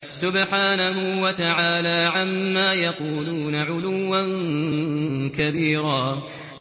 سُبْحَانَهُ وَتَعَالَىٰ عَمَّا يَقُولُونَ عُلُوًّا كَبِيرًا